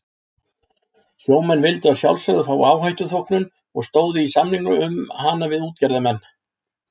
Sjómenn vildu að sjálfsögðu fá áhættuþóknun og stóðu í samningum um hana við útgerðarmenn.